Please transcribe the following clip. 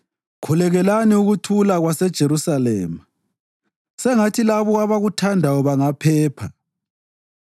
Khulekelani ukuthula kwaseJerusalema: “Sengathi labo abakuthandayo bangaphepha.